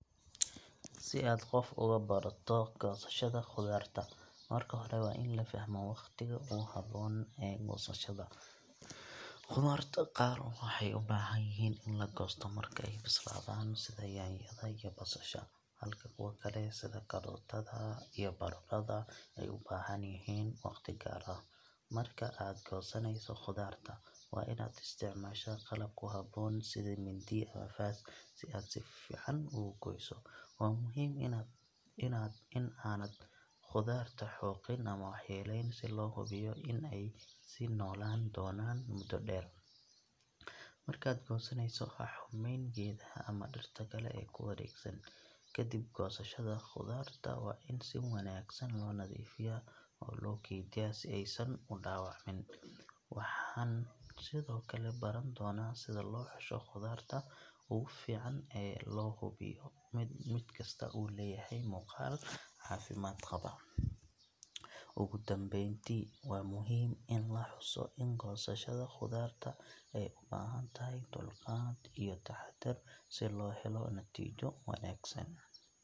Si aad qof uga barato goosashada khudaarta, marka hore waa in la fahmo waqtiga ugu habboon ee goosashada. Khudaarta qaar waxay u baahan yihiin in la goosto marka ay bislaadaan, sida yaanyada iyo basasha, halka kuwa kale sida karootada iyo baradhada ay u baahan yihiin waqti gaar ah. Marka aad goosanayso khudaarta, waa inaad isticmaashaa qalab ku habboon sida mindi ama faas si aad si fiican ugu gooyso. Waa muhiim in aanad khudaarta xoqin ama waxyeelleyn, si loo hubiyo in ay sii noolaan doonaan muddo dheer. Markaad goosanayso, ha xumeyn geedaha ama dhirta kale ee ku wareegsan. Kadib goosashada, khudaarta waa in si wanaagsan loo nadiifiyaa oo loo kaydiyaa si aysan u dhaawacmin. Waxaan sidoo kale baran doonaa sida loo xusho khudaarta ugu fiican oo loo hubiyo in mid kasta uu leeyahay muuqaal caafimaad qaba. Ugu dambeyntii, waa muhiim in la xuso in goosashada khudaarta ay u baahan tahay dulqaad iyo taxaddar si loo helo natiijooyin wanaagsan.